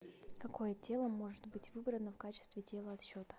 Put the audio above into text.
какое тело может быть выбрано в качестве тела отсчета